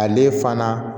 Ale fana